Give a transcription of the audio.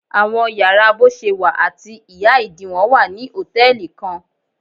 Awọn yàrá boṣewa ati iha-idiwọn wa ni hòtẹ́ẹ̀lì kan.